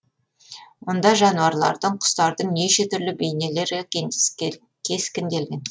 мұнда жануарлардың құстардың неше түрлі бейнелер кескінделген